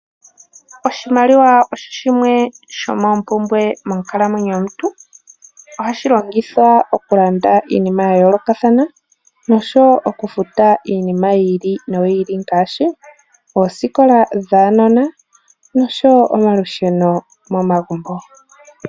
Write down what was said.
Oshimaliwa osho shimwe sho moompumbwe monkalamwenyo yomuntu. Ohashi longithwa okulanda iinima ya yoolokathana, nosho wo okufuta iinima yi ili noyi ili ngaashi oosikola dhaanona, nosho wo omalusheno mo magumbo.